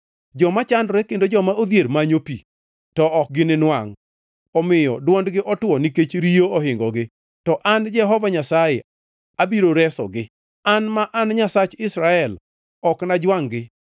“Joma chandore kendo joma odhier manyo pi, to ok gininwangʼ, omiyo dwondgi otwo nikech riyo ohingogi. To an Jehova Nyasaye abiro resogi; An, ma an Nyasach Israel ok anajwangʼ-gi.